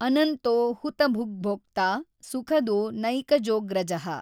ಅನಂತೋ ಹುತಭುಗ್ಭೋಕ್ತಾ ಸುಖದೋ ನೈಕಜೋಗ್ರಜಃ।